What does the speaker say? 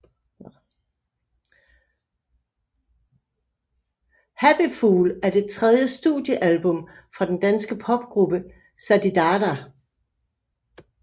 Happy Fool er det tredje studiealbum fra den danske popgruppe Zididada